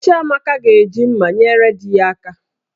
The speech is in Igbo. Chiamaka ga-eji mmá nyere di ya aka